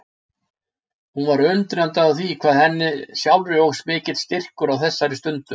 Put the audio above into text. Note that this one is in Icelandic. Hún var undrandi á því hvað henni sjálfri óx mikill styrkur á þessari stundu.